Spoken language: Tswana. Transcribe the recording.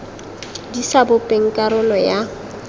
di sa bopeng karolo ya